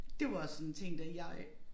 Det var også sådan en ting da jeg